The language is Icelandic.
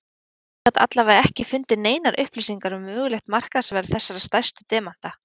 Höfundur gat alla vega ekki fundið neinar upplýsingar um mögulegt markaðsverð þessara stærstu demanta.